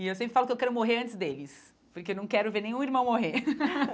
E eu sempre falo que eu quero morrer antes deles, porque eu não quero ver nenhum irmão morrer.